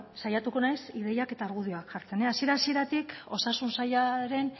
saiatuko naiz ideiak eta argudioak jartzen hasiera hasieratik osasun sailaren